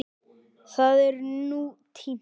Það er nú týnt.